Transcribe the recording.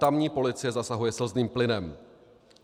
Tamní policie zasahuje slzným plynem.